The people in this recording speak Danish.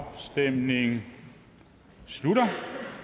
afstemningen slutter